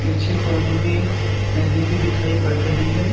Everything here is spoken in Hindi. पीछे कोने में एक नदी भी दिखाई पड़ रही है।